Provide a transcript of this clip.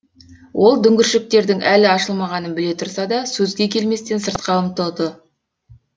ол дүңгіршектердің әлі ашылмағанын біле тұрса да сөзге келместен сыртқа ұмтылды